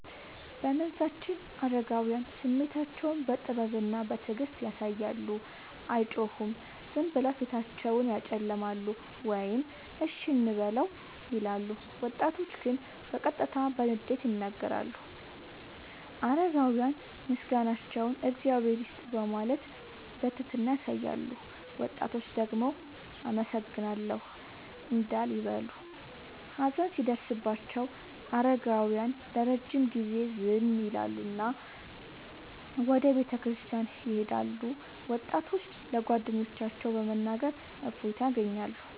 በመንዛችን አረጋውያን ስሜታቸውን በጥበብና በትዕግስት ያሳያሉ፤ አይጮሁም፤ ዝም ብለው ፊታቸውን ያጨለማሉ ወይም “እሺ እንበለው” ይላሉ። ወጣቶች ግን በቀጥታ በንዴት ይናገራሉ። አረጋውያን ምስጋናቸውን “እግዚአብሔር ይስጥህ” በማለት በትህትና ያሳያሉ፤ ወጣቶች ደግሞ “አመሰግናለሁ” እንዳል ይበሉ። ሀዘን ሲደርስባቸው አረጋውያን ለረጅም ጊዜ ዝም ይላሉና ወደ ቤተክርስቲያን ይሄዳሉ፤ ወጣቶች ለጓደኞቻቸው በመናገር እፎይታ ያገኛሉ።